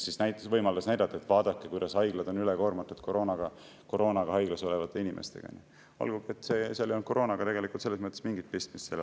See andis võimaluse näidata, kuidas haiglad on ülekoormatud koroonaga haiglas olevate inimestega, olgugi et sellel haiglas viibimisel ei olnud koroonaga mingit pistmist.